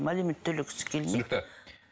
алимент төлегісі келмейді түсінікті